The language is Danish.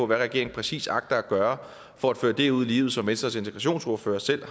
hvad regeringen præcis agter at gøre for at føre det ud i livet som venstres integrationsordfører selv